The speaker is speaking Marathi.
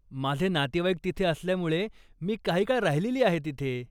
माझे नातेवाईक तिथे असल्यामुळे मी काही काळ राहिलेली आहे तिथे.